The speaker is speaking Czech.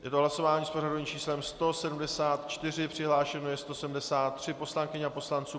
Je to hlasování s pořadovým číslem 171, přihlášeno je 173 poslankyň a poslanců.